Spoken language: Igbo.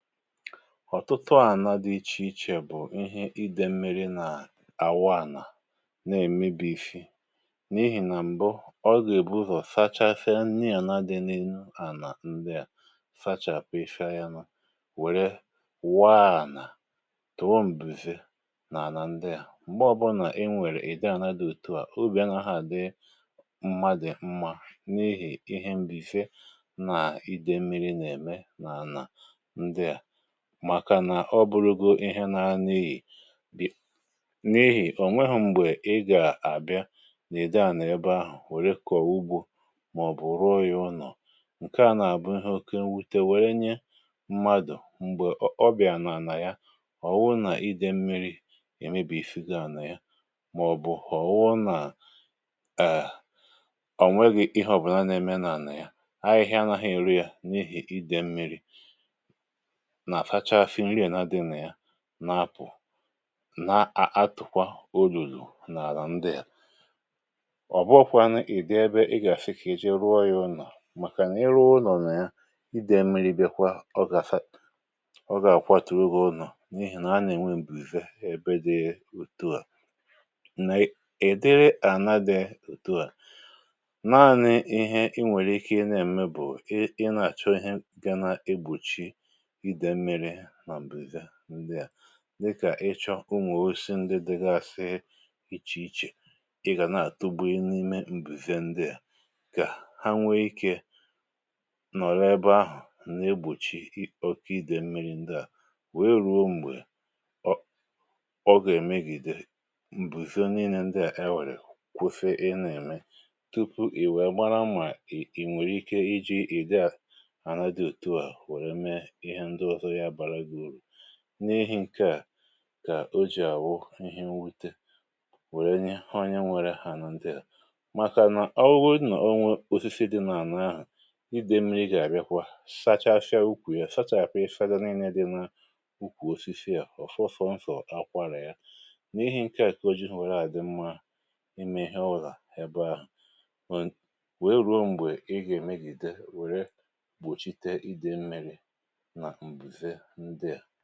Ọtụtụ ànà dị ichè ichè bụ̀ ihe ide mmiri nà àwa ànà nà-èmebisi n’ihì nà m̀bụ ọga-èbu ụzọ̀ sachasia nni ànà dị n’ihu ànà ndị à sachàpụsia ya nà wère waa ànà tụ̀ọ m̀buze nà ànà ndị à, m̀gbẹ ọbụlà i nwèrè ìde ànà di ètù à obì anahȧ dị mmadụ mma ihi ihe mbụze na ide mmiri na-eme na ana ndia, màkà nà ọ bụrụgo ihe nara n’iyi n’ihì ò nweho m̀gbè ị gà-àbịa nà-udi ànà ebe ahụ̀ wère kọ̀wa ugbȯ màọ̀bụ̀ ruo yȧ ụnọ̀, ǹke à nà-àbụ ihe oke nwute wère nye mmadụ̀ m̀gbè ọ ọ bịà n’àlà ya ọ̀wụ nà idè mmi̇ri̇ èmebìsigo ànà ya màọ̀bụ̀ ọ̀wụ nà ò nweghi̇ ihe ọ̀bụ̀na na-eme n’àlà ya, ahịhịa anȧha eru yà n’ihì idė mmi̇ri̇ na-asachasi nni ana dị na ya na-apụ̀ na-a a atụ̀kwa olulu̇ n’àlà ndị a ọ̀bụghọ̇kwȧnu ị̀ dị ebe ị gà-àsịkà ije ruo yȧ ụnọ̀ màkàna iru ụnọ̀ nà ya, idè mmiri̇ bịkwa ọ gà sa ọ gà-àkwatùrù gi ụnọ̀ n’ihì nà a nà-ènwe m̀buze ebe dị etu à, nà-èdiri ànà dị ùtu à, nanị̇ ihe i nwèrè ike ị na-ème bụ̀ i i na-àchọ ihe ga nà igbòchi ide mmiri na mbụze ndị à dịkà ịchọ umù òsisi ndị dịgasị ichè ichè, ị gà nà-àtugbi n’imė m̀bùze ndị à kà ha nwee ikė nọ̀rọ ebe ahụ̀ n’egbùchì ọkà idè mmi̇ri̇ ndị à wee rùo m̀gbè ọ ọ gà-èmegìdè m̀bùze niine ndị à ewèrè kwusi ị na-ème tupu i wèe mara mà ì nwèrè ike iji̇ ìdi àna dị òtu à were mee ihe ndị ọzọ ga-abara gị uru, n’ihi̇ ṅke à kà o jì àwụ ihe nwute wèrè nye onye nwèrè ana ndị a makana owu godu na o nwė osisi dị nà-àna ȧhụ̇, ide mmiri̇ gà-àbíakwa sachachịa ukwù ya sachàpụ̀ ifȧ ndị ninne dị nà ukwù osisi ofọo soso akwarà ya n’ihi̇ ṅke à kà o jigho à dị mmȧ ime ihe ọbụna ebe ahụ̀ nwèe ruo m̀gbè ị gà-èmegide wèrè gbòchite ide mmiri̇ na mbụze ndia.